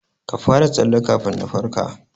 Ka fara tsalle kafin na farka.